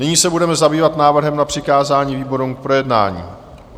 Nyní se budeme zabývat návrhem na přikázání výborům k projednání.